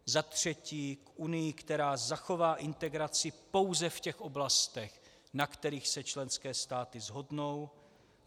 Za třetí k Unii, která zachová integraci pouze v těch oblastech, na kterých se členské státy shodnou.